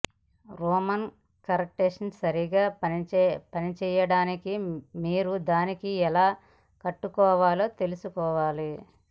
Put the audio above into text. Roman curtain సరిగ్గా పనిచేయడానికి మీరు దానిని ఎలా కట్టుకోవాలో తెలుసుకోవాలి